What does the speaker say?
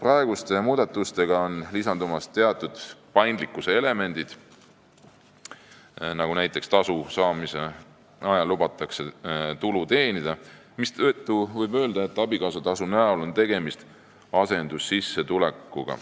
Uute muudatustega lisanduvad teatud paindlikkuse elemendid nagu see, et tasu saamise ajal lubatakse tulu teenida, mistõttu võib öelda, et abikaasatasu näol on tegemist asendussissetulekuga.